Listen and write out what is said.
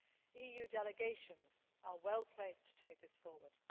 ground. EU delegations are well placed to take this forward.